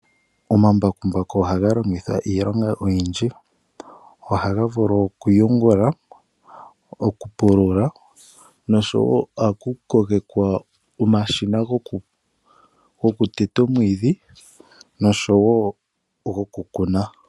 Omambakumbaku ohaga longithwa iilonga oyindji. Ohaga vulu okuyengula, okupulula noshowo ohaku konkekwa omashina gokuteta omwiidhi noshowo gokukuna.